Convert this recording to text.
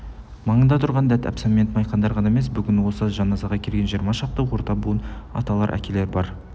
маңында тұрған дәт әбсәмет майқандар ғана емес бүгін осы жаназаға келген жиырма шақты орта буын аталар әкелер бар